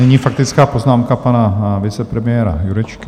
Nyní faktická poznámka pana vicepremiéra Jurečky.